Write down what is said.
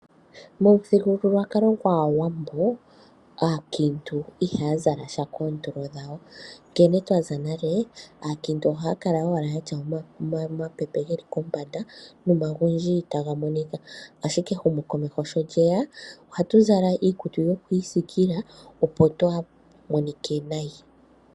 Momuthigululwakalo gwaawambo aakiintu ihaya zala sha koontulo dhawo, nkene twaza nale aakiintu ohaya kala owala yatya omapepe geli kombanda no magundji taga monika. Ashike ehumo komeho sho lyeya ohatu zala iikutu yokwiisikila opo twaamonike nayi.